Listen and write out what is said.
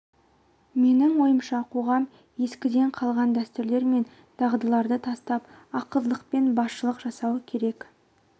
менің ойымша қоғам ескіден қалған дәстүрлер мен дағыдыларды тастап ақылдылықпен басшылық жасау керек